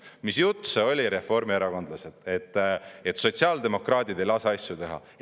Mis jutt see oli, reformierakondlased, et sotsiaaldemokraadid ei lase asju teha?!